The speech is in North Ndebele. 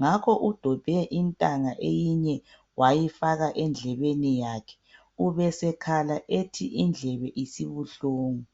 Ngakho udobhe intanga eyinye wayifaka endlebeni yakhe ubesekhala ethi indlebe isibuhlungu.